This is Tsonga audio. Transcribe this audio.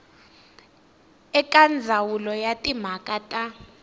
eka ndzawulo ya timhaka ta